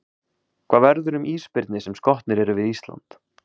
Hvað verður um ísbirni sem skotnir eru við Ísland?